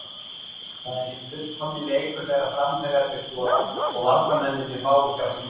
Það er hinn fullkomni leikur þegar framherjarnir skora og varnarmennirnir fá ekki á sig mörk.